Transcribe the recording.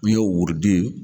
N'i y'o wurudi